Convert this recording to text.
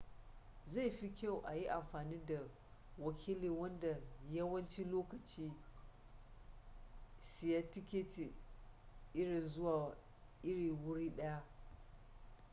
zai fi kyau a yi amfani da wakili wanda yawanci lokaci siya tiketi irin zuwa irin wuri daya